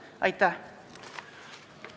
Aitäh!